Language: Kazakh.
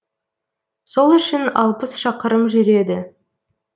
сол үшін алпыс шақырым жүреді